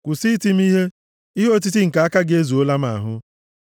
Kwụsị iti m ihe; ihe otiti nke aka gị ezuola m ahụ.